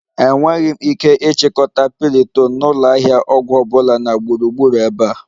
Enweghị m ike ịchọta piriton na ụlọ ahịa ọgwụ ọ bụla na gburugburu ebe a